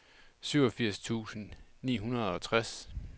syvogfirs tusind ni hundrede og tres